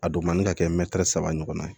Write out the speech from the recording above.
A don man di ka kɛ mɛtiri saba ɲɔgɔn ye